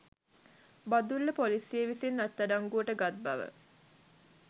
බදුල්ල ‍පොලිසිය විසින් අත්අඩංගුවට ගත් බව